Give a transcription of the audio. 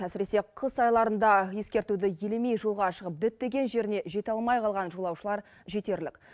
әсіресе қыс айларында ескертуді елемей жолға шығып діттеген жеріне жете алмай қалған жолаушылар жетерлік